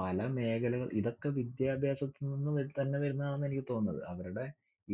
പല മേഖലകളിഇതൊക്കെ വിദ്യാഭ്യാസത്തിനിന്നു തന്നെ വരുന്നതാണെന്ന് എനിക്ക് തോന്നുന്നത്. അവരുടെ